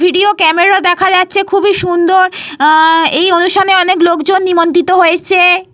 Video camera দেখা যাচ্ছে খুবই সুন্দর। উহঃ এই অনুষ্ঠানে অনেক লোকজন নিমন্ত্রিত হয়েছে।